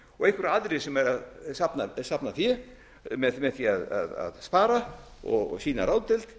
og einhverjir aðrir sem eru að safna fé með því að spara og sýna ráðdeild